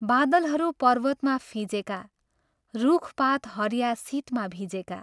बादलहरू पर्वतमा फिंजेका, रुख् पात् हरिया शितमा भिजेका।।